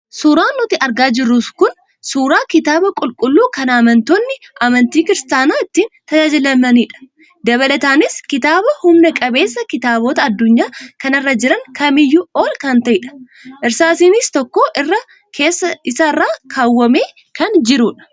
Suuraan nuti argaa jirru kun, Suuraa kitaaba qulqulluu kan amantoonni amantii 'christiana' ittiin tajaajilamanidha. Dabalataanis kitaaba humna qabeessa kitaabota addunyaa kanarra jiran kamiyyuu ol kan ta'edha. Irsaasiin tokko irra keessa isaa irra keewwamee kan jirudha.